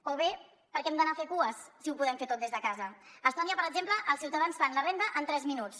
o bé per què hem d’anar a fer cues si ho podem fer tot des de casa a estònia per exemple els ciutadans fan la renda en tres minuts